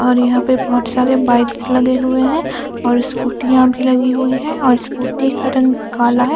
और यहाँ पे बहुत सारे बाइकस लगे हुए है और स्कूटीयाँ भी लगे हुई है और स्कूटी का रंग काला है ।